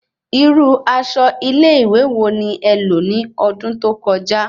Irú aṣọ ile ìwé wò ni é lò ní ọdún tó kọjá